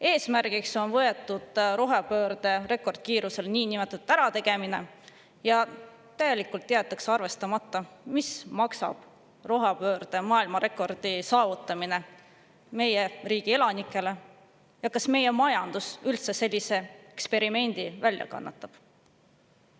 Eesmärgiks on võetud rohepöörde rekordkiirusel niinimetatud ärategemine ja täielikult jäetakse arvestamata, mis maksab rohepöörde maailmarekordi saavutamine meie riigi elanikele ja kas meie majandus üldse sellise eksperimendi välja kannatab.